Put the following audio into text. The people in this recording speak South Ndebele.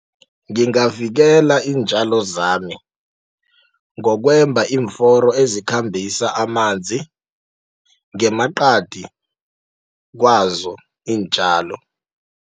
Ngingavikela iintjalo zami ngokwemba iimforo ezikhambisa amanzi ngemaqadi kwazo iintjalo.